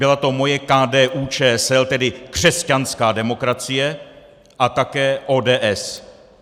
Byla to moje KDU-ČSL, tedy křesťanská demokracie, a také ODS.